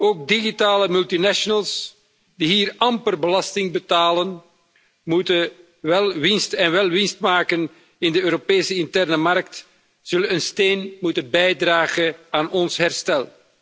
Ook digitale multinationals die hier amper belasting betalen en wel winst maken in de Europese interne markt, zullen een steentje moeten bijdragen aan ons herstel.